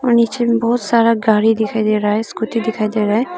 और नीचे में बहुत सारा गाड़ी दिखाई दे रहा हैं स्कूटी दिखाई दे रहा हैं।